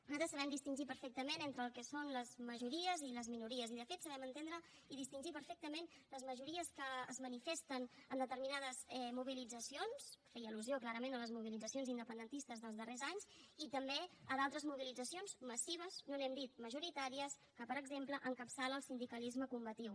nosaltres sabem distingir perfectament entre el que són les majories i les minories i de fet sabem entendre i distingir perfectament les majories que es manifesten en determinades mobilitzacions feia al·lusió clarament a les mobilitzacions independentistes dels darrers anys i també a d’altres mobilitzacions massives no n’hem dit majoritàries que per exemple encapçala el sindicalisme combatiu